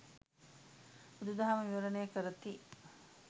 බුදු දහම විවරණය කරති.